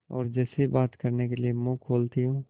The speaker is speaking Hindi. और जैसे ही बात करने के लिए मुँह खोलती हूँ